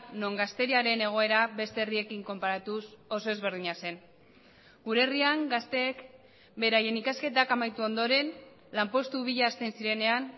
non gazteriaren egoera beste herriekin konparatuz oso ezberdina zen gure herrian gazteek beraien ikasketak amaitu ondoren lanpostu bila hasten zirenean